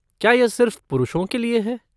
क्या यह सिर्फ पुरुषों के लिए है?